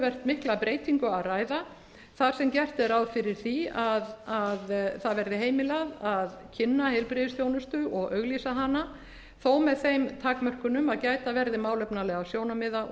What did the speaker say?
mikla breytingu að ræða þar sem gert er ráð fyrir því að það verði heimilað að kynna heilbrigðisþjónustu og auglýsa hana þó með þeim takmörkunum að gæta verði málefnalegra sjónarmiða og svo